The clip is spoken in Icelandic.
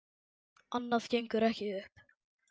Annað gengur ekki upp.